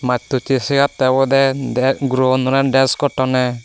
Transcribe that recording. mastoche sigatte obode guro gunore desh gottonney.